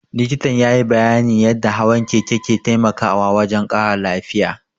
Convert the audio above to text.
Likitan ya yi bayyanin yadda hawan keke ke taimakawa wajen ƙara lafiya